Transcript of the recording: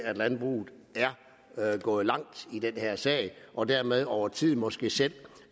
landbruget er gået langt i den her sag og dermed over tid måske selv